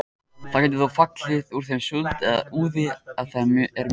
Það getur þó fallið úr þeim súld eða úði ef þau eru mjög þykk.